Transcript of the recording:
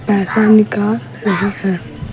पैसा निकाल रही है।